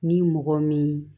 Ni mɔgɔ min